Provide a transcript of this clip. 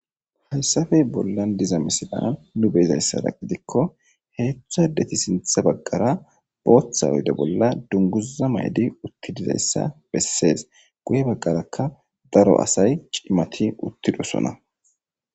hayssafey bollan diza misilan nu beezayssara gidikko heedzdhu addeti sintha baggara booththa oyde bolla dunguza maydi utti dizayssa bessees guye baggarakka daro asay cimati uttidosona